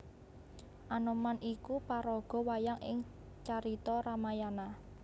Anoman iku paraga wayang ing carita Ramayana